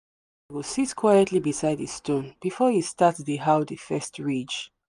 go sit quietly beside the stone before he start dey how the first ridge.